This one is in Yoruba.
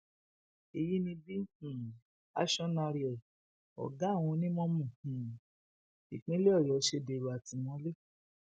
èyí ni bí um acionárioy ọgá àwọn onímọmọ um ìpínlẹ ọyọ ṣe dèrò àtìmọlé